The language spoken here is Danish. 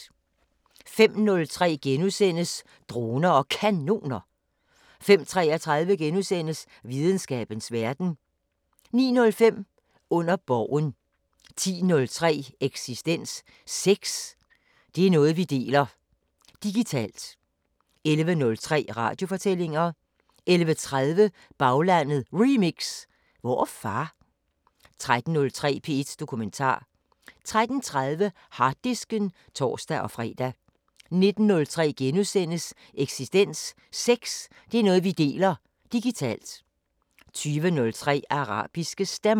05:03: Droner og Kanoner * 05:33: Videnskabens Verden * 09:05: Under Borgen 10:03: Eksistens: Sex, det er noget vi deler; digitalt. 11:03: Radiofortællinger 11:30: Baglandet Remix: Hvor er far? 13:03: P1 Dokumentar 13:30: Harddisken (tor-fre) 19:03: Eksistens: Sex, det er noget vi deler; digitalt. * 20:03: Arabiske Stemmer